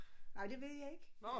Nej det ved jeg ikke